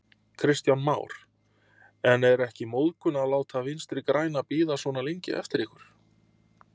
Kristján Már: En er ekki móðgun að láta Vinstri-græna bíða svona lengi eftir ykkur?